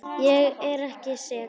Ég er ekki sek.